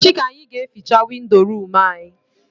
Echi ka anyị ga eficha windo room anyị